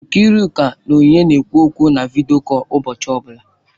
Nkiruka na Onyinye na-ekwu okwu na vidiyo kọl ụbọchị ọbụla.